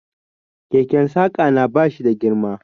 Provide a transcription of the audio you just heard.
Keken Saƙa na ba shi da girma.